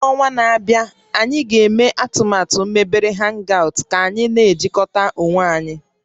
N'ọnwa na-abịa, anyị ga-eme atụmatụ a mebere hangout ka anyị na-ejikọta onwe anyị